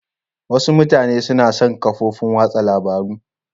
Wasu mutane suna son da kafofin watsa labarun.